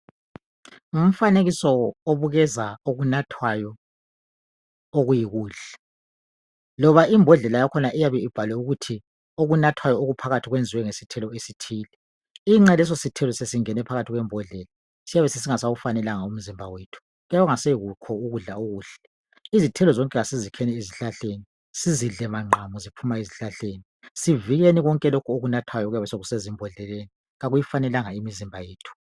Ngumfanekiso obukeza okunathwayo okuyikudla loba iibhodlela yakhona eyabe ibhaliwe ukuthi okunathwayo okuphakathi kwenziwe nge sithelo esithile iqe lesisuthelo sesingene ekubhodlela siyabe singasafanelanga umzimba wethu kuyabe kungaso kudala okuhle izithelo zonke asizikheni esihlahleni sizidle maqamu zivela ezihlahleni sivikeni konke lokhu okunathwayo okuyabe sekusezibhodleleni akuyifanelanga imizimba yethu.